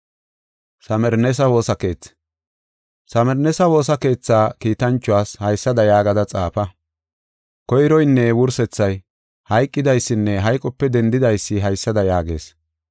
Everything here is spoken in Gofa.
Samirneesa woosa keethaa kiitanchuwas haysada yaagada xaafa. “Koyroynne wursethay, hayqidaysinne hayqope dendidaysi haysada yaagees: